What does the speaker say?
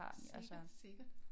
Sikkert sikkert